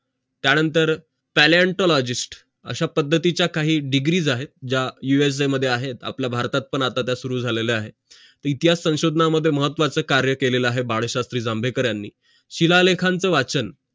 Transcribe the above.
त्यानंतर paleontologist अशा पद्धतीचा काही degrees आहेत ज्या USA मध्ये आहेत आपल्या भारतात पण आता त्या चालू झालेल्या आहेत इतिहास संशोधना मध्ये महत्वाचं काम केलेलं आहे बाळशास्त्री जांभेकर यांनी शीला लेखन ते वाचन